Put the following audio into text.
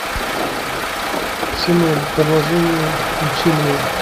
ксенон продолжение включи мне